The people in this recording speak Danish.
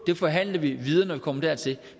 det forhandler vi videre når vi kommer dertil